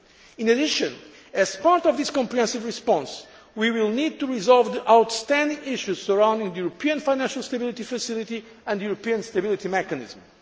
June. In addition, as part of this comprehensive response, we will need to resolve the outstanding issues surrounding the European Financial Stability Facility and the European Stability Mechanism.